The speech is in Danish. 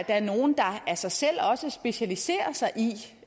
er nogle der af sig selv også specialiserer sig i